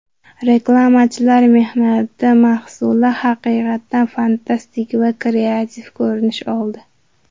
Reklamachilar mehnati mahsuli haqiqatan fantastik va kreativ ko‘rinish oldi.